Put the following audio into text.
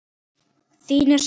Þín er saknað.